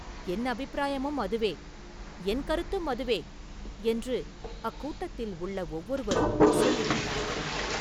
“என் அபிப்பிராயமும் அதுவே”, “என் கருத்தும் அதுவே” என்று அக்கூட்டத்தில் உள்ள ஒவ்வொருவரும் சொல்லி வந்தார்கள்.